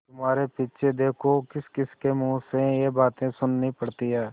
तुम्हारे पीछे देखो किसकिसके मुँह से ये बातें सुननी पड़ती हैं